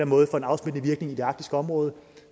måde får en afsmittende virkning i det arktiske område